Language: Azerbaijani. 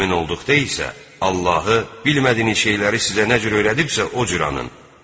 Əmin olduqda isə Allahı bilmədiyiniz şeyləri sizə nə cür öyrəlibsə, o cür anın.